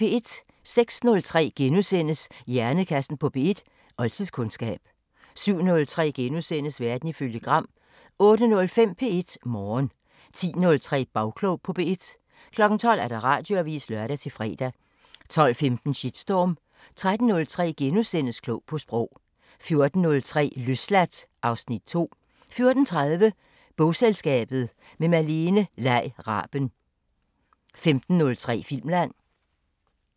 06:03: Hjernekassen på P1: Oldtidskundskab * 07:03: Verden ifølge Gram * 08:05: P1 Morgen 10:03: Bagklog på P1 12:00: Radioavisen (lør-fre) 12:15: Shitstorm 13:03: Klog på Sprog * 14:03: Løsladt (Afs. 2) 14:30: Bogselskabet – med Malene Lei Raben 15:03: Filmland